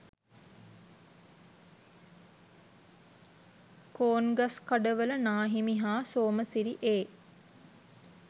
කෝන්ගස්කඩවල නාහිමි හා සෝමසිරි ඒ.